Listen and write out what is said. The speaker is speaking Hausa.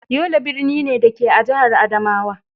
Yola birni ne, da ke a jihar Adamawa.